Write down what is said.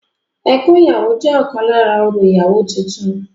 Ẹkún ìyàwó jẹ́ ọ̀kan lára orò ìyàwó titun